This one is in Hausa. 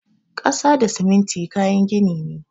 Ƙasa da siminti kayan gini ne.